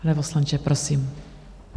Pane poslanče, prosím.